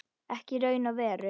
Ekki í raun og veru.